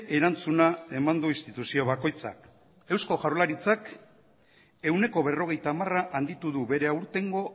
erantzuna eman du instituzio bakoitzak eusko jaurlaritzak ehuneko berrogeita hamar handitu du bere aurtengo